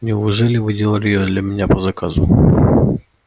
неужели вы делали её для меня по заказу